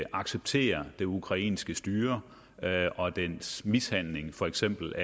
acceptere det ukrainske styre og dets mishandling af for eksempel